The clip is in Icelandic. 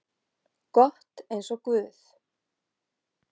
gott eins og guð.